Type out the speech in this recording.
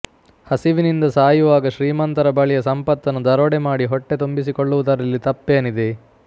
ಹಸಿವಿನಿಂದ ಸಾಯುವಾಗ ಶ್ರೀಮಂತರ ಬಳಿಯ ಸಂಪತ್ತನ್ನು ದರೋಡೆಮಾಡಿ ಹೊಟ್ಟೆ ತುಂಬಿಸಿಕೊಳ್ಳುವುದರಲ್ಲಿ ತಪ್ಪೇನಿದೆ